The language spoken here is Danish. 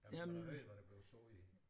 Ja man kunne da høre hvad der blev sagt i den